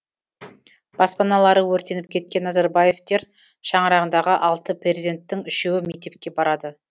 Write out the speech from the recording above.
баспаналары өртеніп кеткен назарбаевтер шаңырағындағы алты перзенттің үшеуі мектепке барады